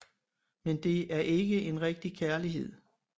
Men det er ikke en rigtig kærlighed